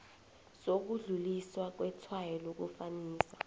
sokudluliswa kwetshwayo lokufanisa